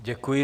Děkuji.